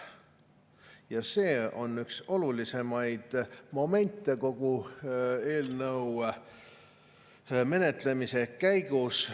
Ja see on üks olulisemaid momente kogu eelnõu menetlemise käigus.